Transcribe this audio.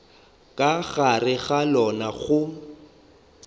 ka gare ga lona go